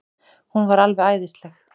Hún var alveg æðisleg.